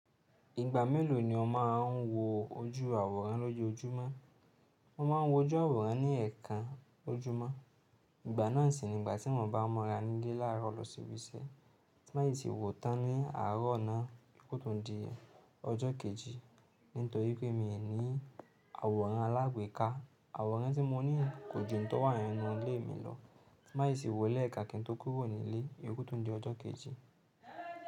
Ìgbà mélòó ni o má a ń wo ojú àwòrán lọ́jọ́ ojúmọ́? Mo máa ń wo ojú àwòrán ní ẹ̀ẹ̀kan ojúmọ́. Ìgbà náà sì nígbà tí mo bá mọ́ra nílé láàárọ̀ lọ sí ibi iṣẹ́. Má ì ti wò ó tán ní àárọ̀ ọ̀nà ko tó di ọjọ́ kejì. Nítorí pé mi ò ní àwòrán alágbèéká. Àwòrán tí mo ní kò jù ńtọ̀ wá́hánú inú ilé mi lọ. Má ì ṣe wò ó lẹ́ẹ̀kan kí n tó kúrò nílé ko tó di ọjọ́ kejì.